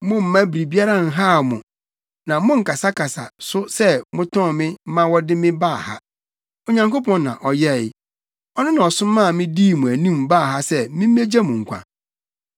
Mommma biribiara nhaw mo. Na monnkasakasa so sɛ motɔn me ma wɔde me baa ha. Onyankopɔn na ɔyɛe. Ɔno na ɔsomaa me, dii mo anim baa ha sɛ mimmegye mo nkwa.